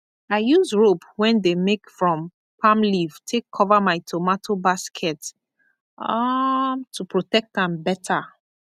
i use rope wen dey make from palm leaf take cover my tomato basket um to protect am better